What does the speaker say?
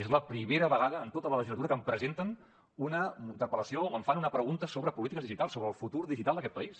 és la primera vegada en tota la legislatura que em presenten una interpel·lació o em fan una pregunta sobre polítiques digitals sobre el futur digital d’aquest país